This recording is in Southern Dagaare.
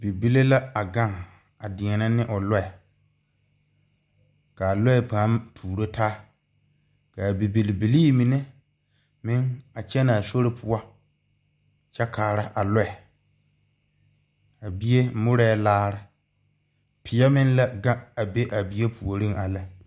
Bibile la agaŋe a deԑnԑ ne o lͻԑ. Ka a lͻԑ paa tuuro taa. Ka a bibilbilii mine meŋ a kyԑnԑ a sori poͻ kyԑ kaara a lͻԑ. A bie morԑԑ laare. Peԑ meŋ la gaŋe a be a bie puoriŋ a lԑ.